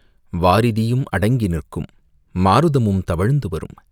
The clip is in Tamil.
வாரிதியும் அடங்கி நிற்கும் மாருதமும் தவழ்ந்து வரும்..